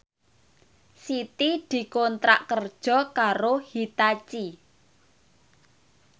Siti dikontrak kerja karo Hitachi